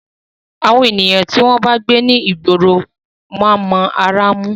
Àwọn ènìyàn tí wọ́n bá ń gbé ní ìgboro máa ń mọ ará mú.